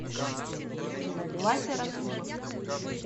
вася расулов